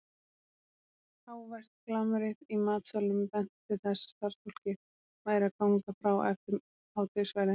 Hávært glamrið í matsalnum benti til þess að starfsfólkið væri að ganga frá eftir hádegisverðinn.